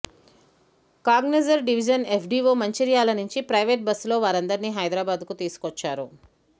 Kagaznagar division FDO Mancherial నుంచి ప్రైవేట్బస్సులో వారందరిని హైదరాబాద్ కు తీసుకొచ్చా రు